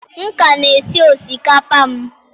M ka na-esi osikapa m.